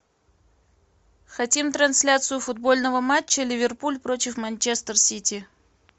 хотим трансляцию футбольного матча ливерпуль против манчестер сити